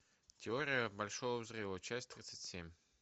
теория большого взрыва часть тридцать семь